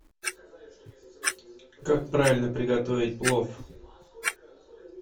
как правильно приготовить плов